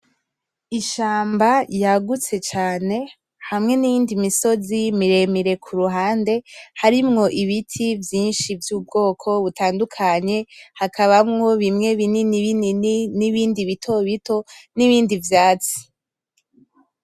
Ishamba yagutse cane hamwe niyindi misozi mire mire kuruhande harimwo ibiti vyinshi vy,ubwoko butandukanye hakabamwo bimwe binini binini nibindi bito bito nibindi vyatsi.